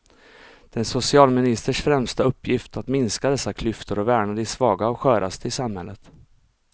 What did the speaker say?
Det är en socialministers främsta uppgift att minska dessa klyftor och värna de svaga och sköraste i samhället.